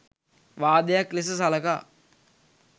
වාදයක් ලෙස සලකා